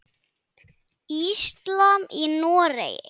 Íslam í Noregi.